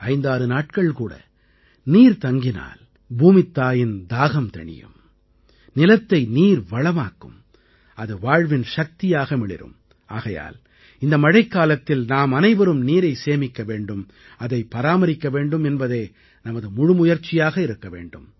56 நாட்கள் கூட நீர் தங்கினால் பூமித்தாயின் தாகம் தணியும் நிலத்தை நீர் வளமாக்கும் அது வாழ்வின் சக்தியாக மிளிரும் ஆகையால் இந்த மழைக்காலத்தில் நாம் அனைவரும் நீரை சேமிக்க வேண்டும் அதைப் பராமரிக்க வேண்டும் என்பதே நமது முழு முயற்சியாக இருக்க வேண்டும்